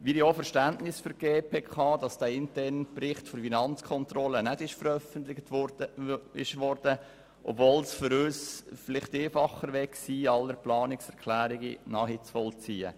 Wir haben auch Verständnis für den Entscheid der GPK, dass der interne Bericht der Finanzkontrolle nicht veröffentlich wurde, obwohl es dann für uns vielleicht einfacher gewesen wäre, alle Planungserklärungen nachzuvollziehen.